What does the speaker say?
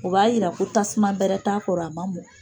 O b'a yira ko tasuma bɛrɛ t'a kɔrɔ a ma mɔ.